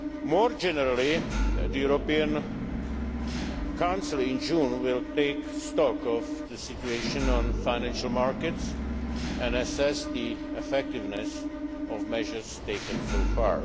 More generally, the June European Council will take stock of the situation on the financial markets and assess the effectiveness of measures taken so far.